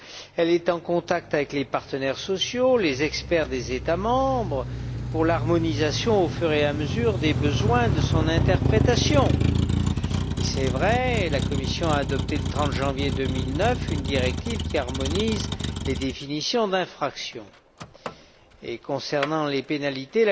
Elle est en contact avec les partenaires sociaux, les experts des États membres, pour l'harmonisation progressive en fonction des besoins de son interprétation. Il vrai que la Commission a adopté, le 30 janvier 2009, une directive qui harmonise les définitions d'infraction, et que, concernant les pénalités,